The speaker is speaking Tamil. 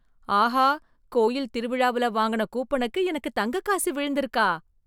ஆஹா! கோயில் திருவிழாவுல வாங்குன கூப்பனுக்கு எனக்கு தங்க காசு விழுந்திருக்கா!